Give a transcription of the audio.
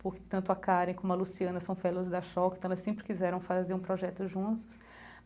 Portanto, a Karen, como a Luciana, são fellas da, então elas sempre quiseram fazer um projeto juntos.